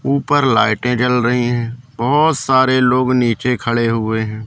ऊपर लाइटें जल रहीं हैं बहोत सारे लोग नीचे खड़े हुए हैं।